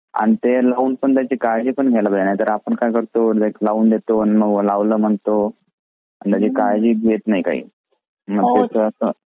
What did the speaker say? आणि ते लावून पण त्यांची काळजी पण घ्यायला पाहिजे नाहीतर आपण काय करतोएक लावून देतो आणि मग लावल म्हणतो. आणि त्याची काळजीच घेत नाही काही आणि मग त्याची अस